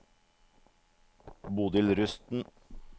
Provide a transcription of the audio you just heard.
Bodil Rusten